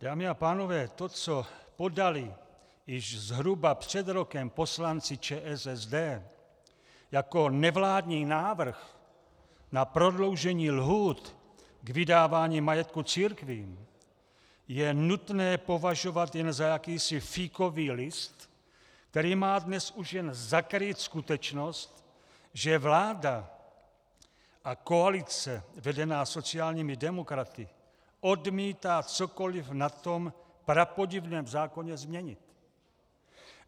Dámy a pánové, to, co podali již zhruba před rokem poslanci ČSSD jako nevládní návrh na prodloužení lhůt k vydávání majetku církvím, je nutné považovat jen za jakýsi fíkový list, který má dnes už jen zakrýt skutečnost, že vláda a koalice vedená sociálními demokraty odmítá cokoliv na tom prapodivném zákoně změnit.